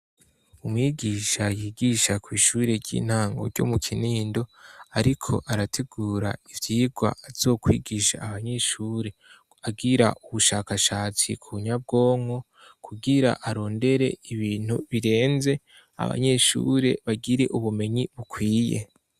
Umwigisha yigisha kw' ishure ry'intango ryo mu Kinindo ariko arategura ivyigwa azokwigisha abanyeshuri. Agira ubushakashatsi ku nyabwonko kugira arondere ibintu birenze, abanyeshuri bagire ubumenyi bukwiye.